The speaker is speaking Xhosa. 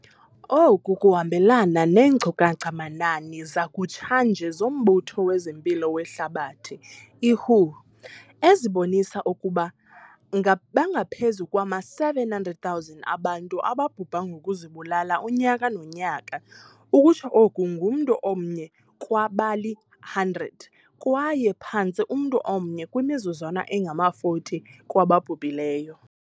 Oku kuhambelana neenkcukacha-manani zakutshanje zoMbutho wezeMpilo weHlabathi, i-WHO, ezibonisa ukuba bangaphezu kwama-700 000 abantu ababhubha ngokuzibulala unyaka nonyaka - ukutsho oko ngumntu omnye kwabali-100 kwaye phantse umntu omnye kwimizuzwana engama-40 kwababhubhileyo.